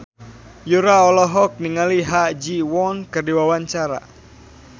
Yura olohok ningali Ha Ji Won keur diwawancara